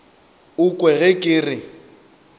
o kwe ge ke re